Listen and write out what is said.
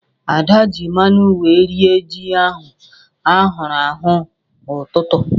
Ada ji mmanu wee rie ji ahụ ahụrụ ahụ n'ụtụtụ.